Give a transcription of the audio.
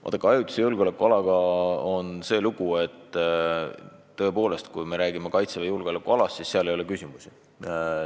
Vaadake, ajutise julgeolekualaga on see lugu, et tõepoolest, kui me räägime Kaitseväe julgeolekualast, siis ei ole mingeid küsimusi.